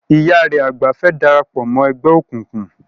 Ìyá rẹ àgbà fẹ́ darapọ̀ mọ́ ẹgbẹ́ òkùnkùn.